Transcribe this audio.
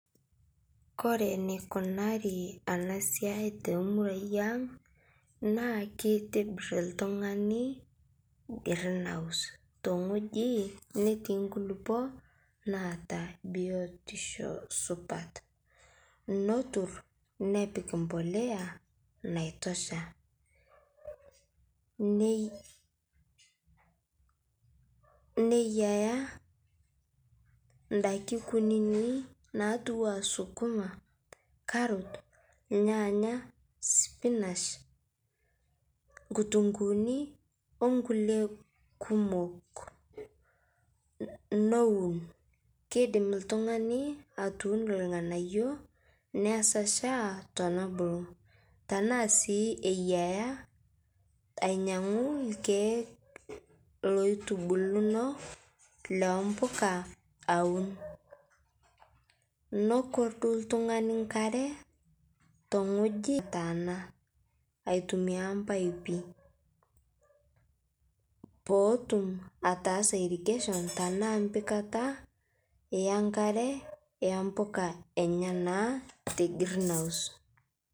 Kore neikunarii ana siai te muruai ang' naa keitibir ltung'ani green house tong'oji netii nkulipo naata biotisho supat notur nepik mpolea naitoshaa, neiyaa ndaki kunini natuwaa sukuma, karot lyaanya, spinach lkutung'uuni onkulie kumok. Nowun , keidim ltung'ani atuuno lng'anayo nesachaa tenebuluu tanaa sii eyaa ainyang'u lkeek loitubulino le mpuka awun, nokordu ltung'ani nkaree tong'oji ntanaa aitumia mpaipi pootum ataasa irrigation tanaa mpikataa yankare yempuka enyanaa te green house.